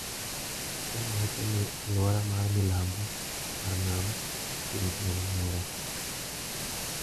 Kenya wacho ni aluora mar milambo mar nam chumbi en mare.